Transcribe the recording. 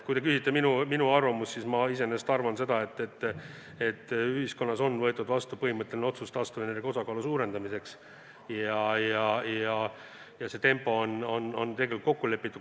Kui te küsite minu arvamust, siis ma iseenesest arvan seda, et ühiskonnas on võetud vastu põhimõtteline otsus taastuvenergia osakaalu suurendamiseks, ja see tempo on tegelikult kokku lepitud.